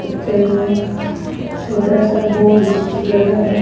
पत्थर में एक छोटा सा बोर्ड स्टीकर लगा हुआ--